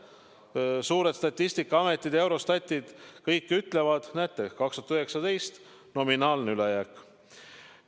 Näete, suured Statistikaametid, Eurostatid, kõik ütlevad: 2019 – nominaalne ülejääk.